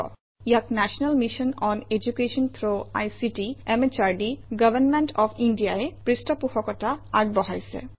ইয়াক national mission on education through ICT MHRD government of India ই পৃষ্ঠপোষকতা আগবঢ়াইছে